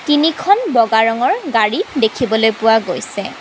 তিনিখন বগা ৰঙৰ গাড়ী দেখিবলৈ পোৱা গৈছে।